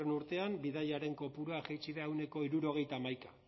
urtean bidaiarien kopurua jaitsi da ehuneko hirurogeita hamaika